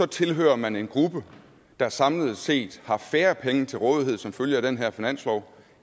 tilhører man en gruppe der samlet set har færre penge til rådighed som følge af den her finanslov